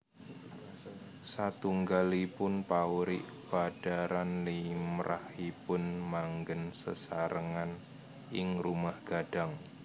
Satunggalipun paurik padharan limrahipun manggén sesarengan ing Rumah Gadang